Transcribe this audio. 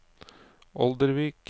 Oldervik